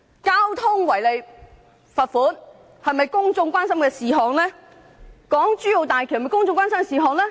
交通違例罰款是否公眾關心的事項，港珠澳大橋又是否公眾關心的事項？